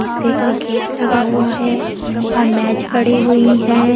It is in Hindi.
से का गेट लगा हुआ है और मेज पड़ी हुई है।